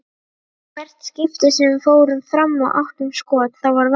Í hvert skipti sem við fórum fram og áttum skot, þá var varið.